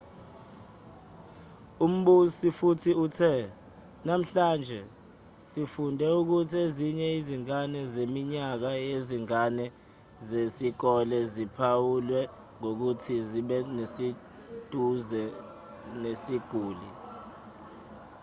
umbusi futhi uthe namhlanje sifunde ukuthi ezinye izingane zeminyaka yezingane zesikole ziphawulwe ngokuthi zibeseduze nesiguli